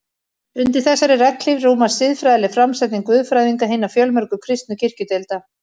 Undir þessari regnhlíf rúmast siðfræðileg framsetning guðfræðinga hinna fjölmörgu kristnu kirkjudeilda.